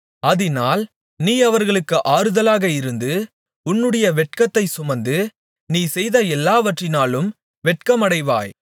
அதினால் நீ அவர்களுக்கு ஆறுதலாக இருந்து உன்னுடைய வெட்கத்தை சுமந்து நீ செய்த எல்லாவற்றினாலும் வெட்கமடைவாய்